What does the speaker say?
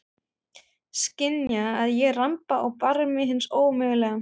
Skynja að ég ramba á barmi hins ómögulega.